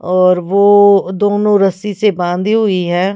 और वो दोनों रस्सी से बांधी हुई हैं।